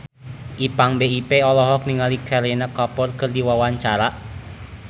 Ipank BIP olohok ningali Kareena Kapoor keur diwawancara